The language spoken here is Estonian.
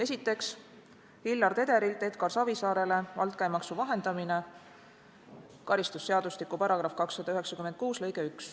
Esiteks, Hillar Tederilt Edgar Savisaarele altkäemaksu vahendamine .